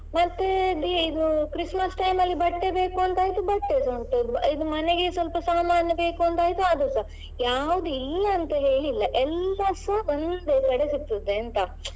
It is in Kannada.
ಮತ್ತೆ ಇದು Christmas time ಅಲ್ಲಿ ಬಟ್ಟೆ ಬೇಕು ಅಂತ ಆಯ್ತು ಬಟ್ಟೆಸಾ ಉಂಟು ಇದ್ ಮನೆಗೆ ಸ್ವಲ್ಪ ಸಾಮಾನ್ ಬೇಕು ಅಂತ ಅದುಸಾ. ಯಾವ್ದು ಇಲ್ಲ ಅಂತೇಳಿ ಇಲ್ಲ ಎಲ್ಲಸಾ ಒಂದೇ ಕಡೆ ಸಿಕ್ತದೆ ಅಂತ.